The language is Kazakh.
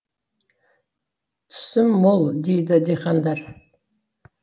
түсім мол дейді диқандар